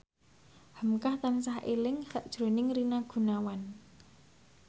hamka tansah eling sakjroning Rina Gunawan